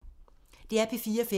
DR P4 Fælles